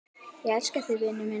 Ég elska þig, vinur minn.